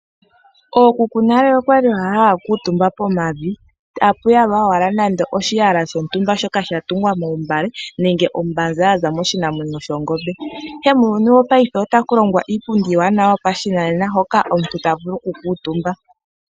Ookuku nale okwa li owala haya kuutumba pomavi. Tapu yalwa owala nando oshiyala shontumba shoka sha tungwa moombale, nenge ombanza yaza moshipa shongombe. Ihe muuyuni wopaife Otaku longwa iipundi iiwanawa yopashinanena hoka omuntu ta vulu oku kuutumba.